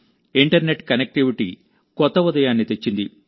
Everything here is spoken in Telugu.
ఇంటర్నెట్ కనెక్టివిటీ కొత్త ఉదయాన్ని తెచ్చింది